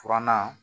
Furanna